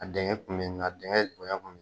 A denkɛ kun bɛ ni na, a denkɛ bonya kun bɛ